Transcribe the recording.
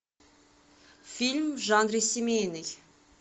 фильм в жанре семейный